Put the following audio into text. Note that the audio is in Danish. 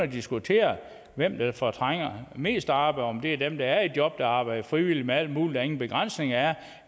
diskutere hvem der fortrænger mest arbejde om det er dem der er i job der arbejder frivilligt med alt muligt og ingen begrænsning er